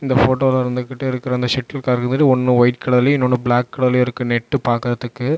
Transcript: ஒரு போட்டோல இருந்துகிட்டு சேட்டுயில் கார்க் இருந்துட்டு ஒன்னு வைட் கலர்யும் இன்னும் ஒன்னு பிளாக் கலர்லையும் இருக்கு நெட்யு பாக்குறதுக்கு.